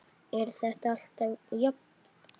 Er þetta alltaf jafn gaman?